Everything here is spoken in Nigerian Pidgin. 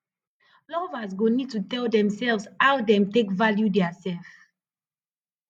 lovers go need to tell themselves how dem take value theirself